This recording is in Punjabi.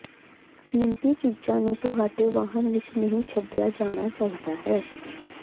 ਕੀਮਤੀ ਚੀਜ਼ਾਂ ਨੂੰ ਤੁਹਾਡੇ ਵਾਹਨ ਵਿਚ ਨਹੀਂ ਛੱਡਿਆ ਜਾਣਾ ਚਾਹੀਦਾ ਹੈ